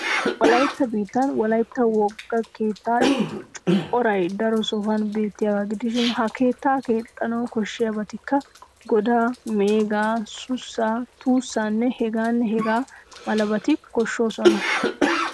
Wolaytta biittan wolaytta wogaa keettay coray daro sohuwan beettiyagaa gidishin ha keettaa keexxanawu koshshiyabatikka:- godaa, meegaa, sussaa, tuussaanne hegaanne hegaa malabati koshshoosona.